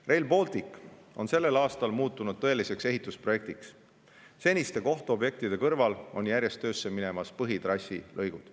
Rail Baltic on sel aastal muutunud tõeliseks ehitusprojektiks – seniste kohtobjektide kõrval on järjest töösse minemas põhitrassilõigud.